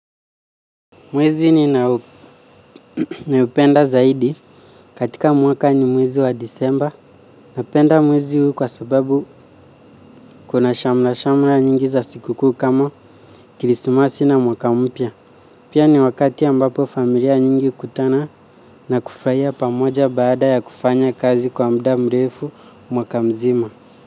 Mwezi ninao upenda zaidi katika mwaka ni mwezi wa disemba napenda mwezi huu kwa sababu kuna shamra-shamra nyingi za sikuku kama krisimas na mwaka umpya pia ni wakati ambapo familia nyingi hukutana na kufurahia pamoja baada ya kufanya kazi kwa mda mrefu mwaka mzima.